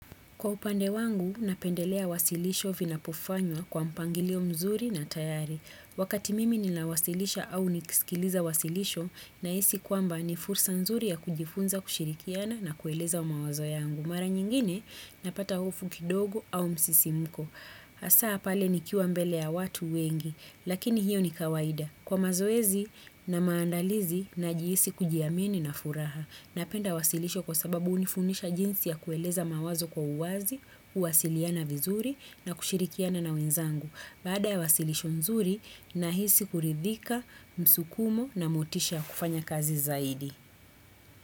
Kwa upande wangu, napendelea wasilisho vina pofanywa kwa mpangilio mzuri na tayari. Wakati mimi ni nawasilisha au niksikiliza wasilisho na isi kwamba ni fursa mzuri ya kujifunza kushirikiana na kueleza umawazo yangu. Mara nyingine, napata ufukidogo au msisimuko. Asaa pale ni kiwa mbele ya watu wengi, lakini hiyo ni kawaida. Kwa mazoezi na maandalizi na jihisi kujiamini na furaha. Napenda wasilisho kwa sababu unifunisha jinsi ya kueleza mawazo kwa uwazi, uwasiliana vizuri na kushirikiana na wenzangu. Baada ya wasilisho nzuri, nahisi kuridhika, msukumo na motisha kufanya kazi zaidi.